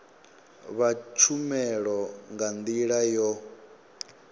vha tshumelo nga ndila yo